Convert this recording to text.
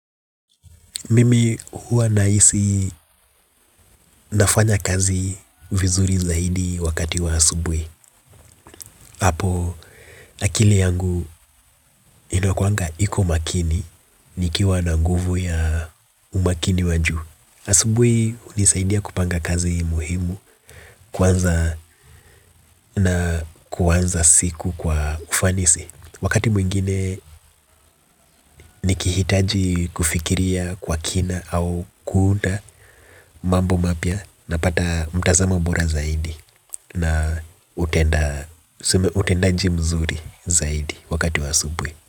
Mimi huwa nahisi nafanya kazi vizuri zaidi wakati wa asubuhi. Apo akili yangu inakuanga iko makini. Nikiwa na nguvu ya umakini wa juu asubuhi hunisaidia kupanga kazi muhimu. Kwanza na kuanza siku kwa ufanisi. Wakati mwingine nikihitaji kufikiria kwa kina au kuunda mambo mapya napata mtazamo bora zaidi na utenda tuseme utendaji mzuri zaidi wakati wa asubuhi.